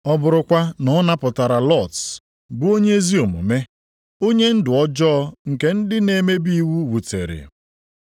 ọ bụrụkwa na ọ napụtara Lọt bụ onye ezi omume, onye ndụ ọjọọ nke ndị na-emebi iwu wutere